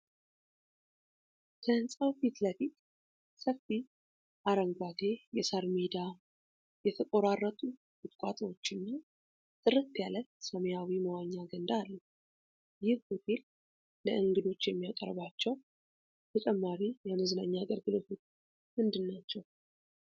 ከህንጻው ፊት ለፊት ሰፊ አረንጓዴ የሣር ሜዳ፣ የተቆራረጡ ቁጥቋጦዎችና ጥርት ያለ ሰማያዊ መዋኛ ገንዳ አለ። ይህ ሆቴል ለእንግዶች የሚያቀርባቸው ተጨማሪ የመዝናኛ አገልግሎቶች ምንድን ናቸው?